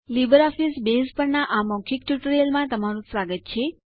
LibreOffice Base પરના આ મૌખિક ટ્યુટોરીયલમાં તમારું સ્વાગત છે